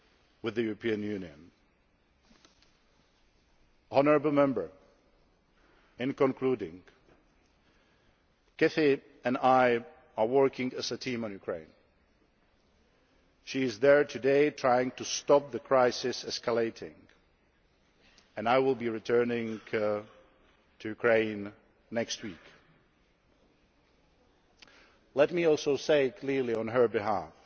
with the European Union. Honourable Members, to conclude Baroness Ashton and I are working as a team in Ukraine. She is there today, trying to stop the crisis escalating, and I will be returning there next week. Let me also say clearly on her